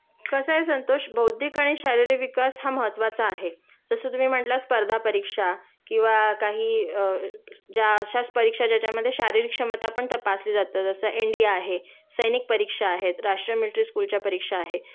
कसय संतोष बौद्धिक आणि शारीरिक विकास हा महत्वाचा आहे.जसं तुम्ही म्हणला स्पर्धा परीक्षा किंवा काही अ ज्या अश्याच परीक्षा ज्याच्यामधे शारीरिक क्षमता पण तपासली जातं जसं एन डी ए आहे, सैनिक परिक्षा आहेत, राष्ट्रीय मिल्ट्री स्कूलच्या परीक्षा आहे